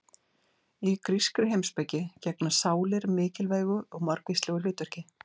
Í grískri heimspeki gegna sálir mikilvægu og margvíslegu hlutverki.